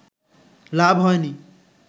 লাভ হয়নি